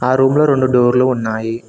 ఆ రూమ్ లో రొండు డోర్లు ఉన్నాయి.